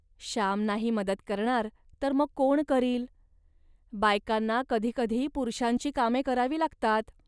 श्याम नाही मदत करणार, तर मग कोण करील. बायकांना कधी कधी पुरुषांची कामे करावी लागतात